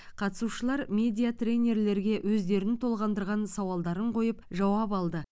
қатысушылар медиа тренерлерге өздерін толғандырған сауалдарын қойып жауап алды